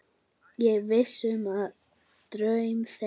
Ég vissi um draum þeirra.